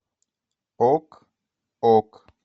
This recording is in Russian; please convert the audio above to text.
ок ок